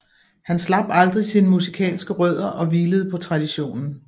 Han slap aldrig sine musikalske rødder og hvilede på traditionen